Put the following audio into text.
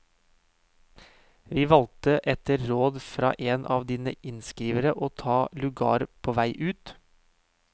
Vi valge etter råd fra en av dine innskrivere å ta lugar på vei ut.